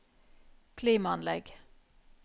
klimaanlegg